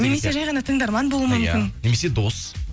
немесе жай ғана тыңдарман болуы мүмкін иә немесе дос